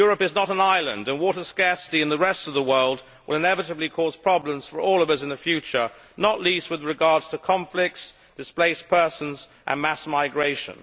Europe is not an island and water scarcity in the rest of the world will inevitably cause problems for all of us in the future, not least with regard to conflicts, displaced persons and mass migration.